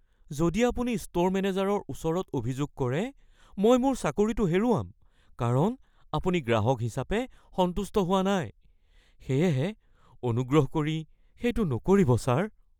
যদি আপুনি ষ্ট'ৰ মেনেজাৰৰ ওচৰত অভিযোগ কৰে, মই মোৰ চাকৰিটো হেৰুৱাম কাৰণ আপুনি গ্ৰাহক হিচাপে সন্তুষ্ট হোৱা নাই, সেয়েহে অনুগ্ৰহ কৰি সেইটো নকৰিব ছাৰ। (শ্বপ ক্লাৰ্ক)